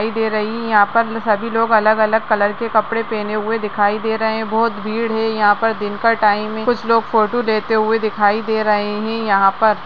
दिखाई दे रही है यहाँ पर सभी लोग अलग-अलग कलर के कपड़े पहने हुए दिखाई दे रहे हैं बहोत भीड़ है यहाँ पर दिन का टाइम है कुछ लोग फोटो लेते हुए दिखाई दे रहे हैं यहाँ पर।